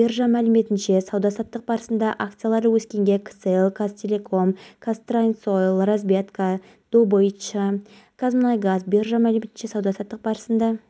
оның жоғалғанын білгеннен бастап абылайдың анасы көз жасын көл қылып алладан оның тірі табылуын сұрап теңізге барып ұлын қайтаруды сұраған